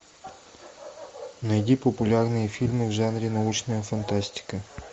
найди популярные фильмы в жанре научная фантастика